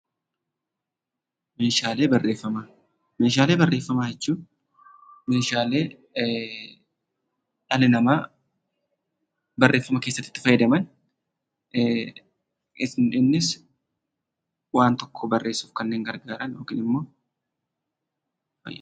Meeshaalee barreeffamaa. Meeshaalee barreeffamaa jechuun meeshaalee dhalli namaa barreeffama keessatti itti fayyadaman .Innis waan tokko barreessuuf kanneen gargaaran yookin immoo fayyadan.